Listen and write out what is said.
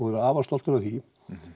verið afar stoltur af því